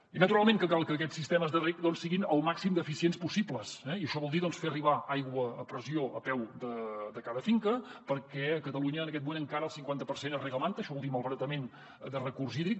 i naturalment que cal que aquests sistemes de reg doncs siguin el màxim d’eficients possibles eh i això vol dir fer arribar aigua a pressió a peu de cada finca perquè a catalunya en aquest moment encara el cinquanta per cent es reg a manta això vol dir malbaratament de recurs hídric